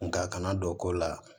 Nka a kana don ko la